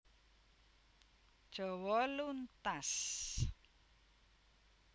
Jawa luntas